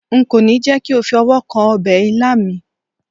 nko ni je ko fi ọwọ kan obe ilá mi